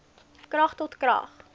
krag tot krag